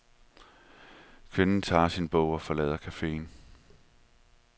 Kvinden tager sin bog og forlader caféen.